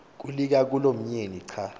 kulika kulomyeni xa